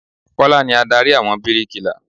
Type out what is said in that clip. Kọ́lá ni Ádárì àwọn bíríkilà.